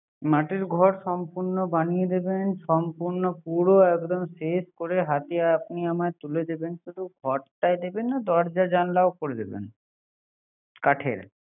মাটির ঘর সম্পন্ন বানিয়ে দিবেন। সম্পন পুরো এরিয়া শেষ করে হাতে আপনি আমার তুলে দিবেন শুধু ঘরটাই দেবেনা দরজা জানালা করবেন না কাঠের